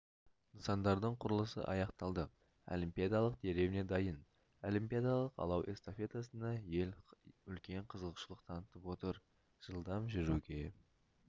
нысандардың құрылысы аяқталды олимпиадалық деревня дайын олимпиадалық алау эстафетасына ел үлкен қызығушылық танытып отыр жылдам жүруге